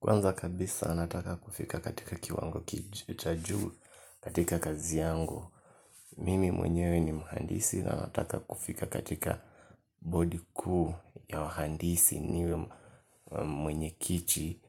Kwanza kabisa nataka kufika katika kiwango cha juu katika kazi yangu. Mimi mwenyewe ni mhandisi na nataka kufika katika board kuu ya wahandisi niwe mwenye kiti